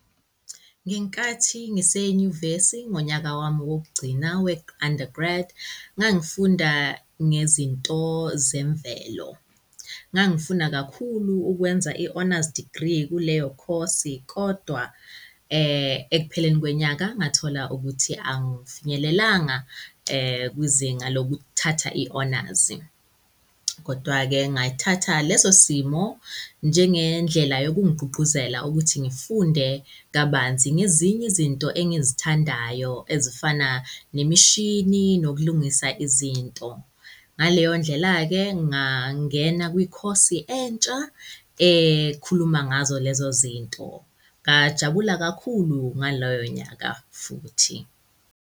Ngenkathi ngise nyuvesi ngonyaka wami wokugcina we-undergrad, ngangifunda ngezinto zemvelo. Ngangifuna kakhulu ukwenza i-honours degree kuleyo course, kodwa ekupheleni kwenyaka ngathola ukuthi angifinyelelanga kwizinga lokuthatha i-honours. Kodwa-ke ngayithatha leso simo njenge ndlela yokungigqugquzela ukuthi ngifunde kabanzi ngezinye izinto engizithandayo ezifana nemishini nokulungisa izinto. Ngaleyo ndlela-ke, ngangena kwi-course entsha ekhuluma ngazo lezo zinto. Ngajabula kakhulu ngaloyo nyaka futhi.